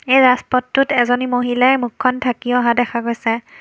এই ৰাজপথটোত এজনী মহিলাই মুখখন ঢাকি অহা দেখা গৈছে।